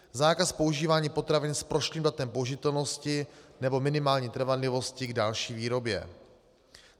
Zákaz používání potravin s prošlým datem použitelnosti nebo minimální trvanlivosti k další výrobě.